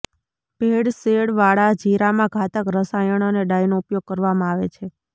ભેળસેળ વાળા જીરામાં ઘાતક રસાયણ અને ડાઈનો ઉપયોગ કરવામાં આવે છે